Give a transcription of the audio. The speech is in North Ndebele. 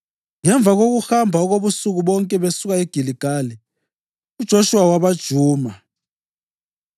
Ngemva kokuhamba okobusuku bonke besuka eGiligali, uJoshuwa wabajuma.